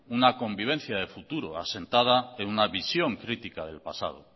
una convivencia de futuro asentada en una visión crítica del pasado